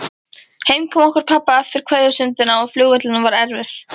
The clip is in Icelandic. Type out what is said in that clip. Heimkoma okkar pabba eftir kveðjustundina á flugvellinum var erfið.